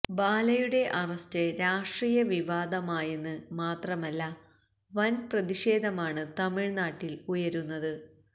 ബാലയുടെ അറസ്റ്റ് രാഷ്ട്രീയ വിവാദമായെന്ന് മാത്രമല്ല വൻപ്രതിഷേധമാണ് തമിഴ്നാട്ടിൽ ഉയരുന്നത്